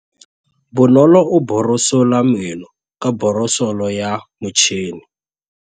Bonolô o borosola meno ka borosolo ya motšhine.